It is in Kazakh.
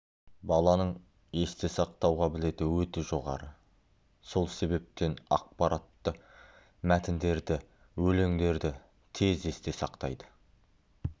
баланың есте сақтау қабілеті өте жоғары сол себептен ақпаратты мәтіндерді өлеңдерді тез есте сақтайды